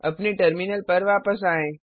अपने टर्मिनल पर वापस आएँ